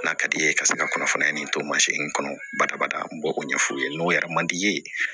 N'a ka di ye ka se ka kɔnɔfara in to mansin kɔnɔ badabada n b'o ɲɛ f'u ye n'o yɛrɛ man di i ye